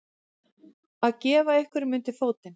Að gefa einhverjum undir fótinn